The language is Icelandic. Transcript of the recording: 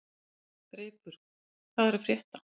Greipur, hvað er að frétta?